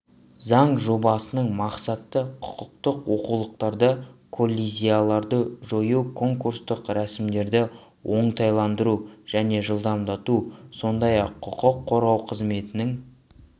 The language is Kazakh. заң жобасының мақсаты құқықтық олқылықтарды коллизияларды жою конкурстық рәсімдерді оңтайландыру және жылдамдату сондай-ақ құқық қорғау қызметінің